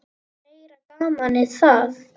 Meira gamanið það!